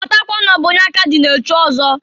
Matakwa n'ọ bụ onye aka dị na-echi ọzọ.